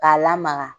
K'a lamaga